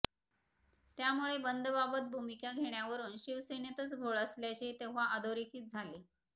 त्यामुळे बंदबाबत भूमिका घेण्यावरून शिवसेनेतच घोळ असल्याचे तेव्हा अधोरेखित झाले